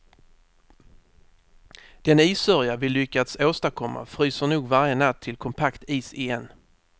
Den issörja vi lyckats åstadkomma fryser nog varje natt till kompakt is igen.